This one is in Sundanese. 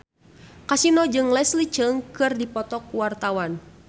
Kasino jeung Leslie Cheung keur dipoto ku wartawan